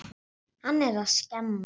Hann er að skemma.